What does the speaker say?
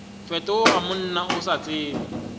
fetoga monna o sa tsebe